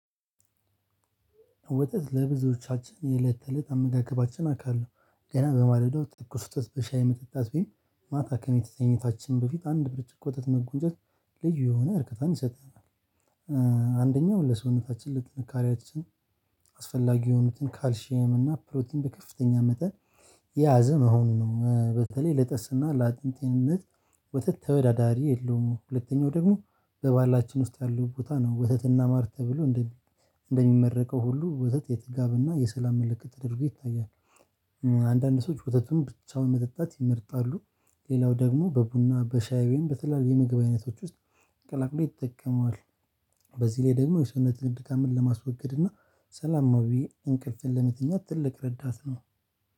ወተት ለብዙዎቻችን የእለት ተእለት አመጋገባችን አካል ነው። ገና በማለዳው ተኩስ ወተት በሻይ መጠጣት ቢሆን ማታ ከመተኛታችን በፊት አንድ ብርጭቆ ወተትን መጎንጨት ልዩ የሆነ እርከታን ይሰጣል። አንደኛው ለሰውነታችን ለጥንካሬያችን አስፈላጊ የሆኑትን ካልሺየም እና ፕሮቲን በከፍተኛ መጠን የያዘ መሆኑ ነው። በተለይ ለጥርስና ለአጥንት ጤንነት ወተት ተወዳዳሪ የለውም። ሁለተኛው ደግሞ በባህላችን ውስጥ ያለው ቦታ ነው። ወተትና ማር ተብሎ እንደሚመረቀው ሁሉ ወተት የጥጋበና የሰላም ምልክት ተደርጎ ይታያል። አንዳንድ ሰዎች ወተቱን ብቻውን መጠጣት ይመርጣሉ። ሌላው ደግሞ በቡና በሻይም በተለያዩ የምግብ አይነቶች ውስጥ ቀላቅሎ ይጠቀመዋል። በዚህ ላይ ደግሞ የሰውነት ድካምን ለማስወገድ እና ሰላማዊ እንቅልፍን ለመተኛት ትልቅ ረዳት ነው።